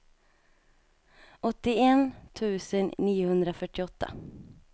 åttioett tusen niohundrafyrtioåtta